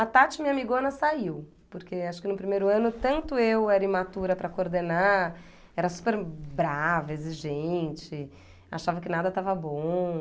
A Tati, minha amigona, saiu, porque acho que no primeiro ano tanto eu era imatura para coordenar, era super brava, exigente, achava que nada estava bom.